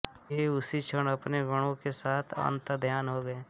वे उसी क्षण अपने गणों के साथ अन्तधर्यान हो गये